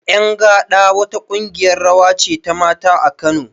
Ƴan gaɗa wa ta ƙungiyar rawa ce ta mata a Kano